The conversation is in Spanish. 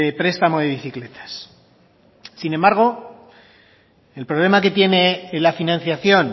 prestamo de bicicletas sin embargo el problema que tiene la financiación